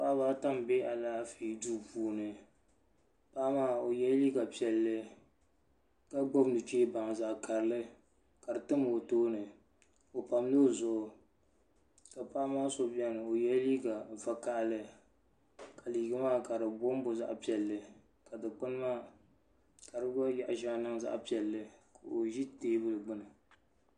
Paɣaba ata m be alaafee duu puuni paɣa maa o yela liiga piɛlli ka gbibi nuchee baŋa zaɣa karili kadi tam o tooni o pamla o zuɣu ka paɣaba maa do biɛni o yela liiga vakahali ka liiga maa ka di bombo zaɣa piɛlli ka dikpini maa ka fi gba yaɣa sheŋa niŋ zaɣa piɛlli ka o ʒi teebuli gbini.